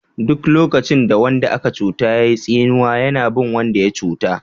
Duk lokacin da wanda aka cuta yayi tsinewa yana bin wanda ya cuta.